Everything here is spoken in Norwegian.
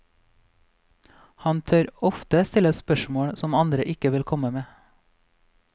Han tør ofte stille spørsmål som andre ikke ville komme med.